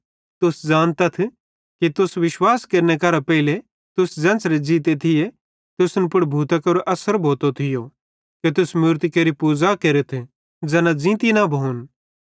तुस ज़ानतथ कि तुस विश्वास केरने करां पेइले तुसन ज़ेन्च़रे ज़ीते थिये तुसन पुड़ भूतां केरो अस्सर भोतो थियो कि तुस मूरती केरि पूज़ा केरथ ज़ैना ज़ींती न भोन